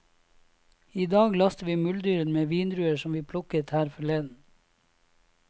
I dag laster vi muldyrene med vindruer som vi plukket her forleden.